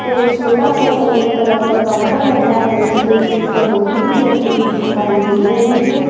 एक छोटा सा सफेद कलर का काउंटर रखा है जिसपे एक भौगोनी भी रखी दिखाई दे रही है।